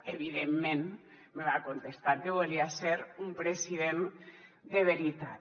evidentment me va contestar que volia ser un president de veritat